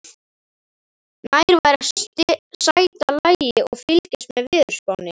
Nær væri að sæta lagi og fylgjast með veðurspánni.